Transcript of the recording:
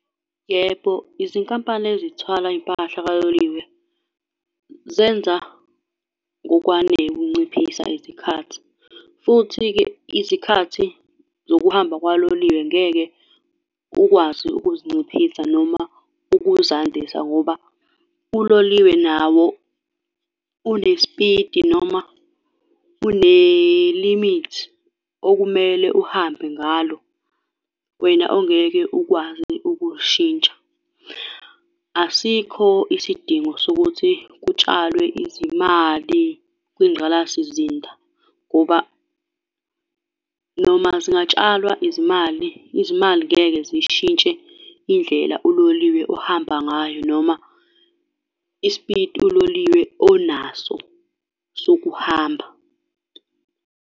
Yebo, izinkampani ezithwala impahla kaloliwe zenza ngokwanele ukunciphisa izikhathi, futhi-ke izikhathi zokuhamba kwaloliwe ngeke ukwazi ukuzinciphisa noma ukuzandise ngoba uloliwe nawo unespiti, noma unelimithi okumele uhambe ngalo, wena ongeke ukwazi ukuyishintsha. Asikho isidingo sokuthi kutshalwe izimali kwingqalasizinda, ngoba noma zingatshalwa izimali, izimali ngeke ziy'shintshe indlela uloliwe ohamba ngayo noma ispiti uloliwe onaso sokuhamba.